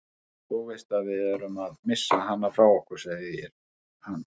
Þú veist að við erum að missa hana frá okkur, segir hann.